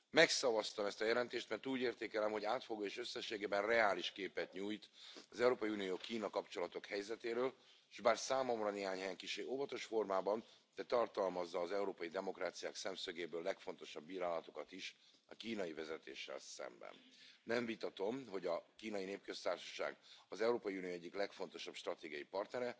să controleze Europa. 50 de miliarde de euro sunt puși la bătaie de China în aceste țări pentru finanțare în infrastructură, hi tech și bunuri de consum. Dar China, știm, nu vine numai cu bani, vine și cu corupție, vine cu practici dictatoriale, vine cu încălcarea drepturilor omului, vine cu interdicția, de exemplu, a internetului, mai ales în țări în care puterea este coruptă și, tocmai, dictatorială.